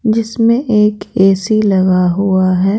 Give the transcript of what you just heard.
इसमें एक ए_सी लगा हुआ है।